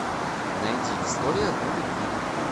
найди история одной любви